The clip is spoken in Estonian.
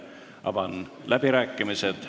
Avan läbirääkimised.